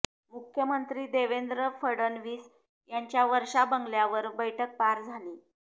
मुख्यमंत्री देवेंद्र फडणवीस यांच्या वर्षा बंगल्यावर बैठक पार झाली